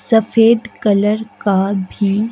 सफेद कलर का भी--